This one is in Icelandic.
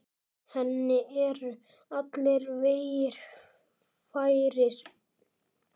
Henni eru allir vegir færir.